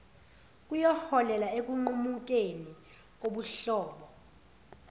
kuyoholela ekunqumukeni kobuhlobo